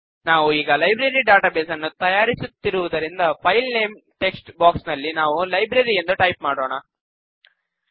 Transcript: ನಾವು ಈಗ library database ನ್ನು ತಯಾರಿಸುತ್ತಿರುವುದರಿಂದ ಫೈಲ್ ನೇಮ್ ಟೆಕ್ಸ್ಟ್ ಬಾಕ್ಸ್ ನಲ್ಲಿ ನಾವು ಲೈಬ್ರರಿ ಎಂದು ಟೈಪ್ ಮಾಡೋಣ